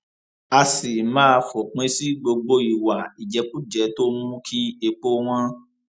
á sì máa fòpin sí gbogbo ìwà ìjẹkújẹ tó ń mú kí epo wọn